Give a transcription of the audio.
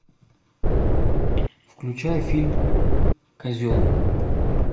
включай фильм козел